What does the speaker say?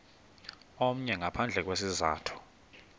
omnye ngaphandle kwesizathu